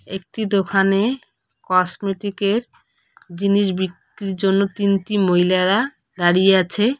একটি দোখানে কসমেটিকের জিনিস বিক্রির জন্য তিনটি মহিলারা দাঁড়িয়ে আছে।